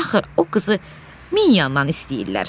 Axır o qızı min yandan istəyirlər.